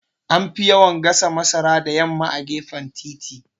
Anfi yawan gasa masara da yamma a gefen titi